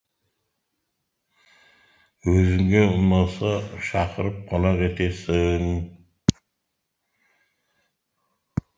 өзіңе ұнаса шақырып қонақ етесің